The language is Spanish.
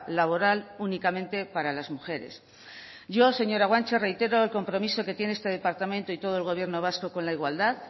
laboral únicamente para las mujeres yo señora güanche reitero el compromiso que tiene este departamento y todo el gobierno vasco con la igualdad